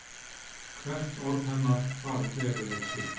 Hvert orð hennar varð veruleiki.